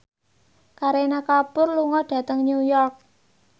Kareena Kapoor lunga dhateng New York